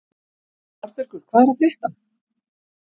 Arnbergur, hvað er að frétta?